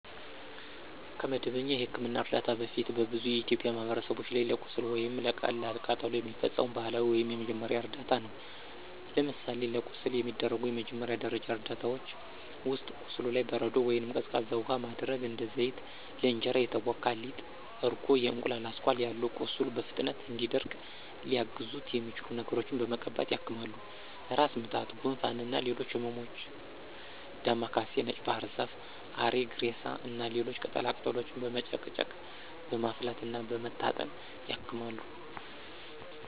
ከመደበኛ የሕክምና እርዳታ በፊት በብዙ የኢትዮጵያ ማህበረሰቦች ላይ ለቁስል ወይም ለቀላል ቃጠሎ የሚፈጸሙ ባህላዊ ወይም የመጀመሪያ እርዳታ ነው። ለምሳሌ ለቁስል የሚደረጉ መጀመሪያ ደረጃ እርዳታዎች ውስጥ፦ ቁስሉ ላይ በረዶ ወይንም ቀዝቃዛ ውሃ ማድረግ፣ እንደ ዘይት፣ ለእንጀራ የተቦካ ሊጥ፣ እርጎ፣ የእንቁላል አስኳል ያሉ ቁስሉ በፍጥነት እንዲደርቅ ሊያግዙት የሚችሉ ነገሮችን በመቀባት ያክማሉ። ራስ ምታት፣ ጉንፋን እና ሌሎች ህመሞችም ዳማ ካሴ፣ ነጭ ባህርዛፍ፣ አሪግሬሳ እና ሌሎች ቅጠላ ቅጠሎችን በመጨቅጨቅ፣ በማፍላት እና በመታጠን ያክማሉ።